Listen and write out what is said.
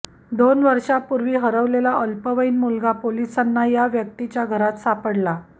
दोन वर्षापूर्वी हरवलेला अल्पवयीन मुलगा पोलिसांना या व्यक्तीच्या घरात सापडला